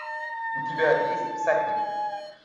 у тебя есть всадник